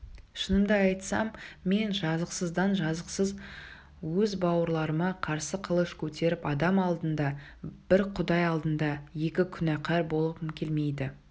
шынымды айтсам мен жазықсыздан-жазықсыз өз бауырларыма қарсы қылыш көтеріп адам алдында бір құдай алдында екі күнәкар болғым келмейді